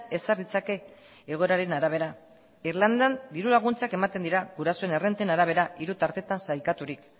ezar ditzake egoeraren arabera irlandan diru laguntzak ematen dira gurasoen errenten arabera hiru tartetan sailkaturik